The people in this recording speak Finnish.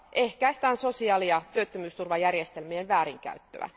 ehkäistään sosiaali ja työttömyysturvajärjestelmien väärinkäyttöä.